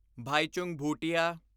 Bhaichung Bhutia